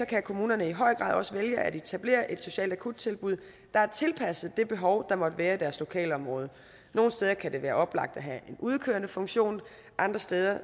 kan kommunerne i høj grad også vælge at etablere et socialt akuttilbud der er tilpasset det behov der måtte være i deres lokalområde nogle steder kan det være oplagt at have en udkørende funktion andre steder